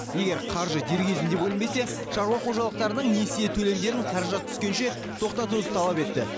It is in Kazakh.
егер қаржы дер кезінде бөлінбесе шаруа қожалықтарының несие төлемдерін қаражат түскенше тоқтатуды талап етті